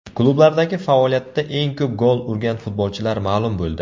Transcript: Klublardagi faoliyatida eng ko‘p gol urgan futbolchilar ma’lum bo‘ldi.